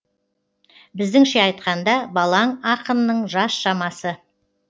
біздіңше айтқанда балаң ақынның жас шамасы